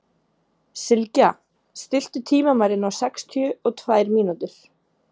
Sylgja, stilltu tímamælinn á sextíu og tvær mínútur.